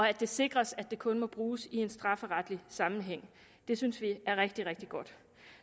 at det sikres at det kun må bruges i en strafferetlig sammenhæng det synes vi er rigtig rigtig godt